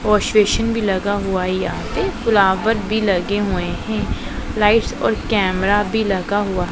wash basin भी लगा हुआ है यहां पे फ्लावर भी लगे हुए हैं लाइट्स और कैमरा भी लगा हुआ --